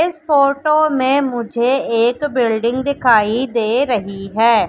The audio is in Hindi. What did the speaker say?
इस फोटो में मुझे एक बिल्डिंग दिखाई दे रही है।